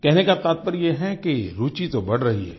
कहने का तात्पर्य यह है कि रूचि तो बढ़ रही है